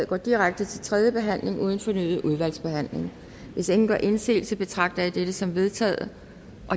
går direkte til tredje behandling uden fornyet udvalgsbehandling hvis ingen gør indsigelse betragter jeg dette som vedtaget